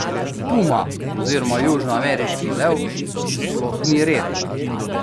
Puma oziroma južnoameriški lev sploh ni redek.